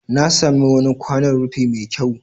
Na sami wani kwanon rufi mai kyau.